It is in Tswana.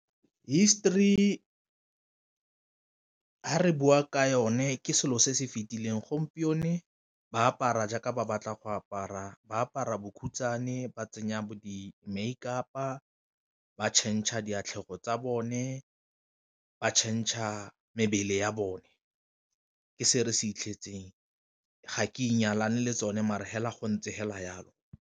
History fa re bua ka yone ke selo se se fitileng, gompieno ke ba apara jaaka ba batla go apara ba apara bokhutswane ba tsenya bo di-makeup-a ba change-a difatlhego tsa bone ba change-a mebele ya bone. Ke se re se fitlhetseng ga ke inyalane le tsone mare fela go ntse fela jalo.